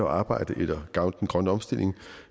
arbejde eller at gavne den grønne omstilling